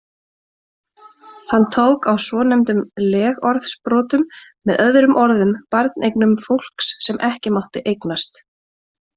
Hann tók á svonefndum legorðsbrotum, með öðrum orðum barneignum fólks sem ekki mátti eigast.